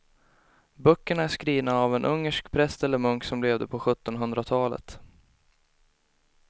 Böckerna är skrivna av en ungersk präst eller munk som levde på sjuttonhundratalet.